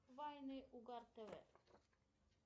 вайны угар тв